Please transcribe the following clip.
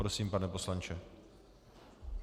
Prosím, pane poslanče.